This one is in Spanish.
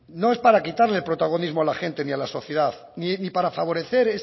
no es para quitarle protagonismo a la gente ni a la sociedad ni para favorecer